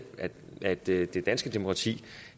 at det danske demokrati